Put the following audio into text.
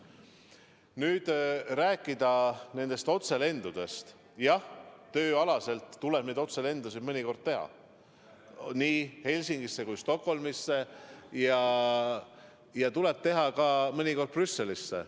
Kui nüüd rääkida nendest otselendudest, siis jah, tööalaselt tuleb neid otselendusid mõnikord teha, nii Helsingisse kui ka Stockholmisse ja mõnikord ka Brüsselisse.